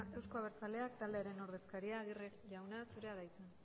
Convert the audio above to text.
euzko abertzaleak taldearen ordezkaria aguirre jauna zurea da hitza